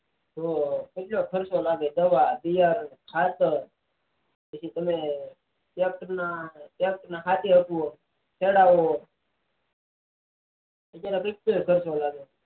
એમાં કેટલા પૈસા લાગે દવા બિયારણ ખાતર જેથી તમે ટ્રેક્ટર ને હાથી આપીયો હોય ખેડાવિયું હોય કેટલો એ ખર્ચો લાગે